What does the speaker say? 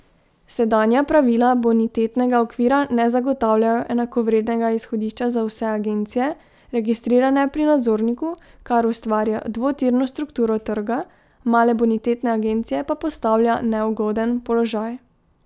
Sedanja pravila bonitetnega okvira ne zagotavljajo enakovrednega izhodišča za vse agencije, registrirane pri nadzorniku, kar ustvarja dvotirno strukturo trga, male bonitetne agencije pa postavlja v neugoden položaj.